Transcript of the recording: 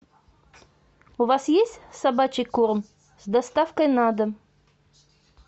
у вас есть собачий корм с доставкой на дом